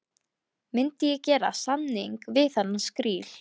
Myndi ég gera samning við þennan skríl?